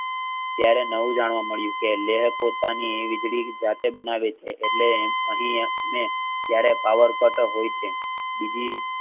ત્યારે નવું જાણવા મળ્યું કે લેહ પોતાની વીજળી જાતે બનાવે છે એટલે અહીં અમ ક્યારેક power cut હોય છે.